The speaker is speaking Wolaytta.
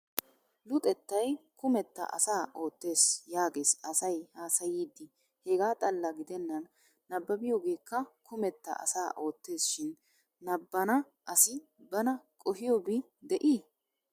"Luxettaay kumetta asa oottes" yaages asay haasayiiddi hegaa xalla gidenan nabbabiyoogeekka kumetta asa oottes shin nabbanna asi bana qohiyoobi de'i?